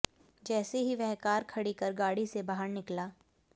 जैसे ही वह कार खड़ी कर गाड़ी से बाहर निकला